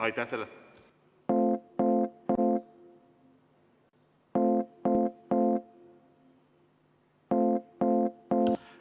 Aitäh teile!